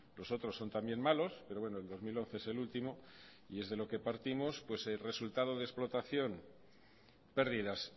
os otros son también malos pero bueno el dos mil once es el último y es de lo que partimos pues el resultado de explotación pérdidas